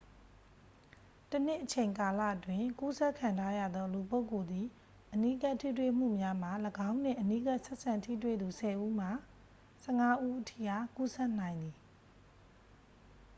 တစ်နှစ်အချိန်ကာလအတွင်း ကူးစက်ခံထားရသော လူပုဂ္ဂိုလ်သည် အနီးကပ်ထိတွေ့မှုများမှ ၎င်းနှင့်အနီးကပ်ဆက်ဆံထိတွေ့သူ 10 ဦးမှ 15 ဦးထိအား ကူးစက်နိုင်သည်